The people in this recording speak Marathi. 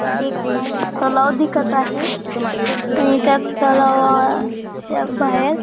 हे एक तलाव दिसत आहे आणि त्या तलावाच्या बाहेर--